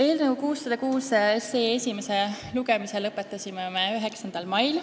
Eelnõu 606 esimese lugemise me lõpetasime 9. mail.